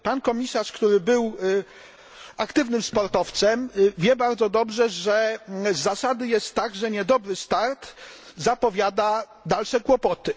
Pan komisarz, który był aktywnym sportowcem, wie bardzo dobrze, że z zasady jest tak, że niedobry start zapowiada dalsze kłopoty.